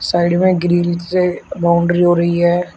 Side में grill से boundary हो रही है।